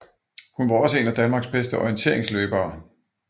Hun var også en af Danmarks bedste orienterigsløbere